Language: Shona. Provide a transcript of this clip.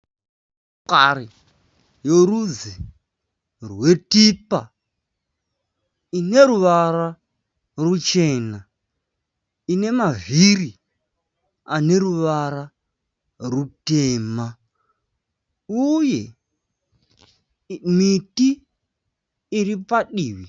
Motokari yorudzi rweTipa, ine ruvara ruchena, ine mavhiri ane ruvara rutema uye miti iri padivi.